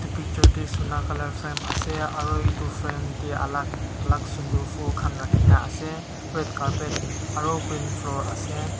picture te Sona colour frame ase aru etu frame te alak alak sundar phool khan rakhina ase red carpet aru green floor.